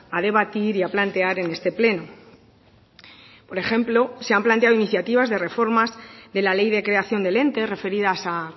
a debatir y a plantear en este pleno por ejemplo se han planteado iniciativas de reformas de la ley de creación del ente referidas a